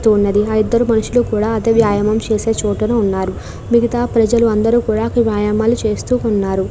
తెలుస్తున్నది ఆ ఇద్దరు మనుషులు కూడా అదే వ్యాయామం చేసిన చోటున ఉన్నారు మిగితా ప్రజలందరూ కూడా వ్యాయామాలు చేస్తూ ఉన్నారు.